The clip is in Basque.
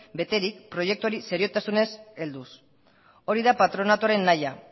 beterik proiektuari seriotasunez helduz hori da patronatoaren nahia